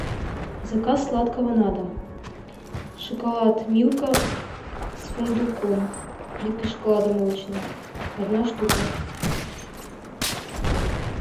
заказ сладкого на дом шоколад милка с фундуком плитка шоколада молочная одна штука